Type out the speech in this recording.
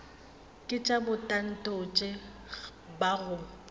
ke tša bomatontshe ba go